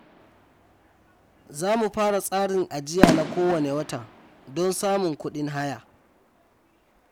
Za mu fara tsarin ajiya na kowane wata don samun kudin haya.